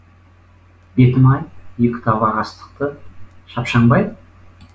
бетім ай екі табақ астықты шапшаңбай